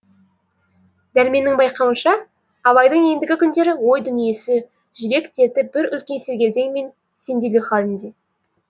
дәрменнің байқауынша абайдың ендігі күндері ой дүниесі жүрек дерті бір үлкен сергелдең мен сенделу халінде